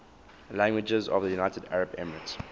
languages of the united arab emirates